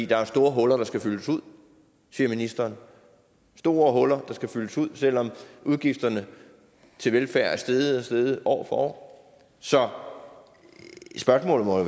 der er store huller der skal fyldes ud siger ministeren store huller der skal fyldes ud selv om udgifterne til velfærd er steget og steget år for år så spørgsmålet må